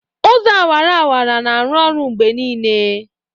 Ụzọ awara-awara na-arụ ọrụ mgbe niile.